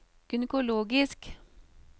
gynekologisk